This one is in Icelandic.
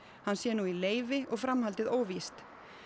hann sé nú í leyfi og framhaldið óvíst